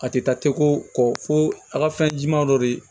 A tɛ taa teko kɔ fo a ka fɛn jɛman dɔ de